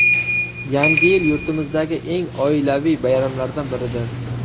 Yangi yil yurtimizdagi eng oilaviy bayramlardan biridir.